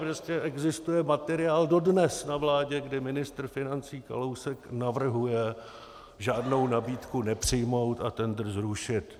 Prostě existuje materiál dodnes na vládě, kde ministr financí Kalousek navrhuje žádnou nabídku nepřijmout a tendr zrušit.